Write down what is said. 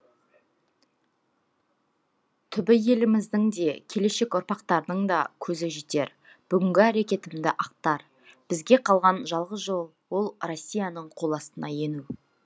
түбі еліміздің де келешек ұрпақтардың да көзі жетер бүгінгі әрекетімді ақтар бізге қалған жалғыз жол ол россияның қол астына ену